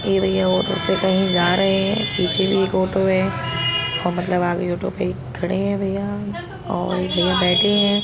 ये भैया ऑटो से कहीं जा रहे हैं। पीछे भी एक ऑटो है और मतलब आगे ऑटो पर एक खड़े हैं भैया और एक भैया बैठे हैं।